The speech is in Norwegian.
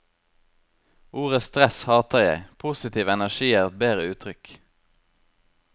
Ordet stress hater jeg, positiv energi er et bedre uttrykk.